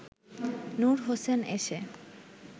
নূর হোসেন এসে